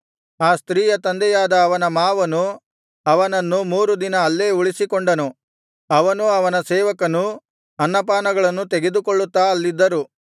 ಆ ಸ್ತ್ರೀಯ ತಂದೆಯಾದ ಅವನ ಮಾವನು ಅವನನ್ನು ಮೂರು ದಿನ ಅಲ್ಲೇ ಉಳಿಸಿಕೊಂಡನು ಅವನೂ ಅವನ ಸೇವಕನೂ ಅನ್ನಪಾನಗಳನ್ನು ತೆಗೆದುಕೊಳ್ಳುತ್ತಾ ಅಲ್ಲಿದ್ದರು